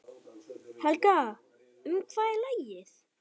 Helga, um hvað er lagið?